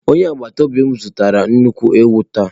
Onye agbata obi m zụtara nnukwu ewu taa.